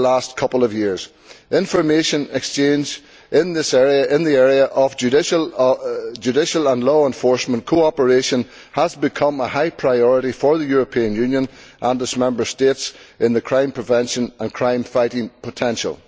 Over the last couple of years, information exchange in the area of judicial and law enforcement cooperation has become a high priority for the European Union and its Member States in the crime prevention and crime fighting potential.